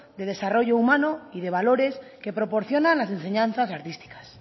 de desarrollo humano y de valores que proporciona las enseñanzas artísticas